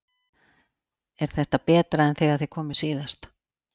Er þetta betra en þegar þið komuð síðast?